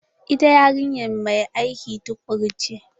Ita yarinya mai aiki tukuru ce.